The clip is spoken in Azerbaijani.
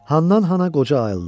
Handan-hana qoca ayıldı.